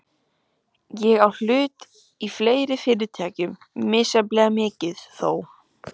Ég á hluti í fleiri fyrirtækjum, misjafnlega mikið þó.